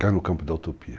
Cai no campo da utopia.